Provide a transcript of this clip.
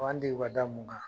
U b'an degu ka da mun kan ?